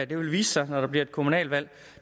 vil vise sig når der bliver kommunalvalg